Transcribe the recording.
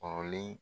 Kɔrɔlen